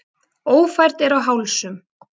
Ófært er á Hálsum